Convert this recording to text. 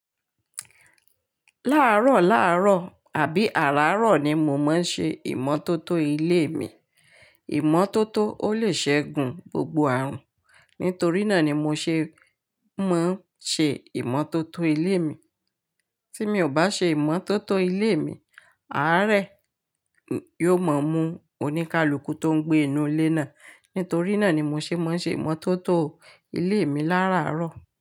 Lárọ̀lárọ̀ àbí àràárọ̀ ni mo máa ń ṣe ìmọ́tótó ilé mi. Ìmọ́tótó ó lè ṣẹ́gun gbogbo àrùn. Nítorí náà ni mo ṣe máa ń ṣe ìmọ́tótó ilé mi. Tí mi ò bá ṣe ìmọ́tótó ilé mi, àárẹ̀ yóò mọ mú oníkálukú tó ń gbé inú ilé náà. Nítorí náà ni mo ṣe máa ń ṣe ìmọ́tótó ilé mi láràárọ̀